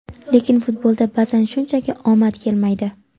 lekin futbolda ba’zan shunchaki omad kelmaydi.